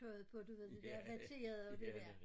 Tøjet på du ved det dér vatterede det dér